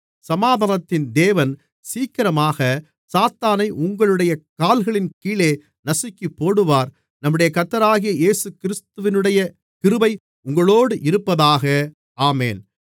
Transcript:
சமாதானத்தின் தேவன் சீக்கிரமாகச் சாத்தானை உங்களுடைய கால்களின் கீழே நசுக்கிப்போடுவார் நம்முடைய கர்த்தராகிய இயேசுகிறிஸ்துவினுடைய கிருபை உங்களோடு இருப்பதாக ஆமென்